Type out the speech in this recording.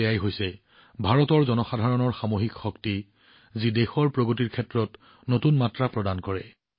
এয়াই হৈছে ভাৰতৰ জনসাধাৰণৰ সামূহিক শক্তি যিয়ে দেশৰ প্ৰগতিৰ ক্ষেত্ৰত নতুন শক্তি সংযোজন কৰি আছে